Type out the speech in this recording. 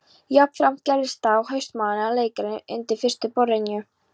Jafnframt gerðist það á haustmánuðum að leikarar undir forustu Brynju